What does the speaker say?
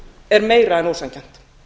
er meira en ósanngjarnt